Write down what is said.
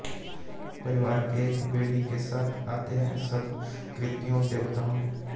परिवार के एक वेदी के साथ आते हैं सब कृत्यों देवताओं